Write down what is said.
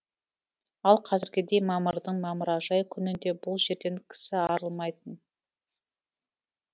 ал қазіргідей мамырдың мамыражай күнінде бұл жерден кісі арылмайтын